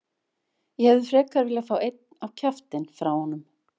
Ég hefði frekar viljað fá einn á kjaftinn frá honum.